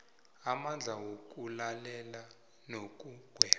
amandla wokulalela nokugweba